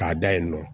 K'a da yen nɔ